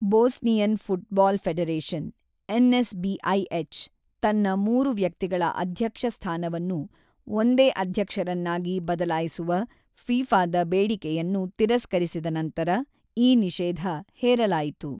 Bosnian football federation) ತನ್ನ ಮೂರು-ವ್ಯಕ್ತಿಗಳ ಅಧ್ಯಕ್ಷ ಸ್ಥಾನವನ್ನು ಒಂದೇ ಅಧ್ಯಕ್ಷರನ್ನಾಗಿ ಬದಲಾಯಿಸುವ ಫಿಫಾದ ಬೇಡಿಕೆಯನ್ನು ತಿರಸ್ಕರಿಸಿದ ನಂತರ ಈ ನಿಷೇಧ ಹೇರಲಾಯಿತು.